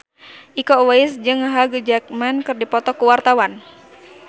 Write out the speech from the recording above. Iko Uwais jeung Hugh Jackman keur dipoto ku wartawan